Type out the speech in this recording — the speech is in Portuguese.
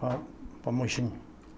Pa para Mogi